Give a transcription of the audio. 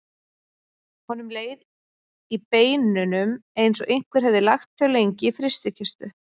Honum leið í beinunum eins og einhver hefði lagt þau lengi í frystikistu.